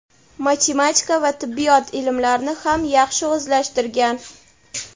matematika va tibbiyot ilmlarini ham yaxshi o‘zlashtirgan.